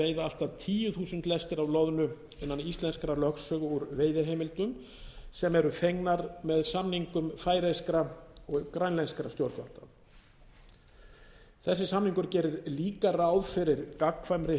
allt að tíu þúsund lestir af loðnu innan íslenskrar lögsögu úr veiðiheimildum sem eru fengnar með samningum færeyska og grænlenskra stjórnvalda þessi samningur gerir líka ráð fyrir gagnkvæmri